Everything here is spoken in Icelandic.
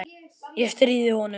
Ég stríði honum.